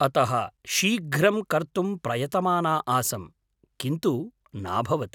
अतः शीघ्रं कर्तुं प्रयतमाना आसं, किन्तु नाभवत्।